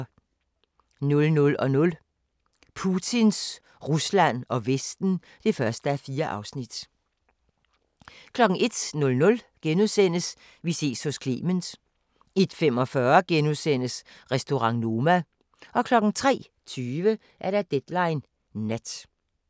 00:00: Putins Rusland og Vesten (1:4) 01:00: Vi ses hos Clement * 01:45: Restaurant Noma * 03:20: Deadline Nat